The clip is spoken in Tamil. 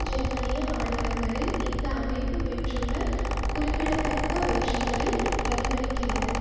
ஜெர்மனிய மாநிலங்களில் இந்த அமைப்பு பெற்றுள்ள குறிப்பிடத்தக்க வெற்றிகளை பிரதிபலிக்கிறது